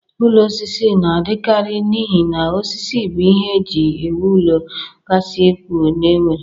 Ụlọ osisi na-adịkarị n'ihi na osisi bụ ihe e ji ewu ụlọ kasị ukwuu e nwere.